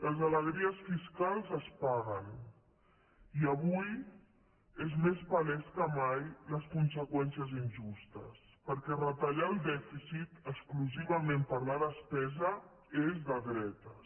les alegries fiscals es paguen i avui són més paleses que mai les conseqüències injustes perquè retallar el dèficit exclusivament per la despesa és de dretes